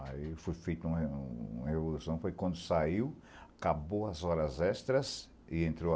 Aí foi feita uma uma revolução, foi quando saiu, acabou as horas extras e entrou